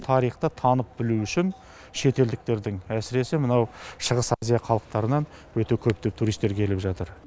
тарихты танып білу үшін шетелдіктердің әсіресе мынау шығыс азия халықтарынан өте көптеп туристер келіп жатыр